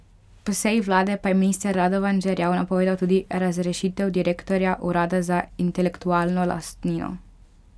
Po seji vlade pa je minister Radovan Žerjav napovedal tudi razrešitev direktorja urada za intelektualno lastnino.